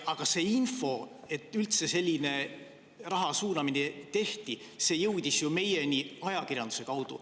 Aga see info, et üldse selline raha suunamine tehti, jõudis ju meieni ajakirjanduse kaudu.